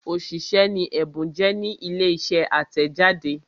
òṣìṣẹ́ ni Ẹ̀bùn jẹ́ ní ilé iṣẹ́ atẹjade.